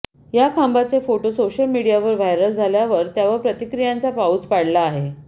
या खांबाचे photo social मीडियावर व्हायरल झाल्यावर त्यावर प्रतिक्रियांचा पाउस पाडला आहे